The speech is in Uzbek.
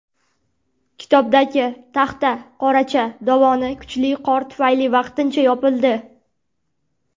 Kitobdagi Taxtaqoracha dovoni kuchli qor tufayli vaqtincha yopildi.